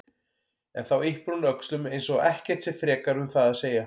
En þá yppir hún öxlum eins og ekkert sé frekar um það að segja.